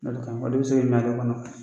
O de ka ɲi o de bɛ se ale kɔnɔ